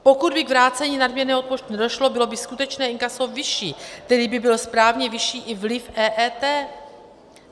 Pokud by k vrácení nadměrného odpočtu nedošlo, bylo by skutečné inkaso vyšší, tedy by byl správně vyšší i vliv EET.